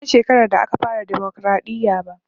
Ban san shekarar da aka fara dimokraɗiya ba